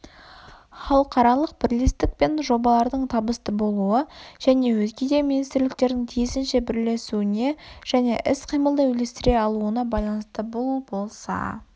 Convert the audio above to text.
халықаралық бірлестік пен жобалардың табысты болуы және өзге де министрліктердің тиісінше бірлесуіне және іс-қимылды үйлестіре алуына байланысты бұл болса